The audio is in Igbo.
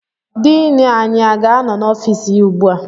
Diini anyị aga-anọ n'ọfịs ya ugbu a?